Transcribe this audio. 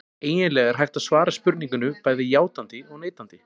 Eiginlega er hægt að svara spurningunni bæði játandi og neitandi.